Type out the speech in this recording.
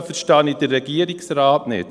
Da verstehe ich den Regierungsrat nicht.